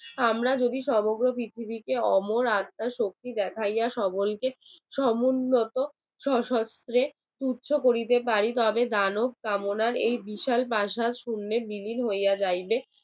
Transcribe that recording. আমরা যদি সমগ্র পৃথিবীকে অমর আত্মার শহীদ দেখাইয়া সকলকে সমুন্নত সশস্ত্র করিতে পারি তবে কামনার এই বিশাল পাছাল শূন্যের হইয়া যাইবে